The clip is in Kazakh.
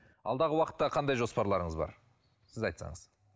алдағы уақытта қандай жоспарларыңыз бар сіз айтсаңыз